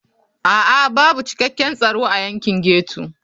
A'a babu cikakken tsaro a yankin ghetto.